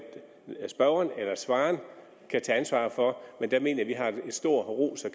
spørgeren eller svareren kan tage ansvar for men der mener vi har en stor ros og